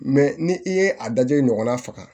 ni i ye a dajɔ de ɲɔgɔnna faga